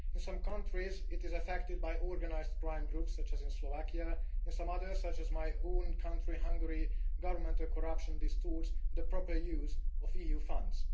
In some countries it is affected by organised crime groups, such as in Slovakia. In some others, such as my own country, Hungary, governmental corruption distorts the proper use of EU funds.